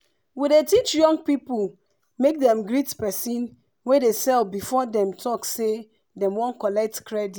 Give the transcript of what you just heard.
we dey teach young people make dem greet persin wey dey sell before dem talk say dem wan collect credit.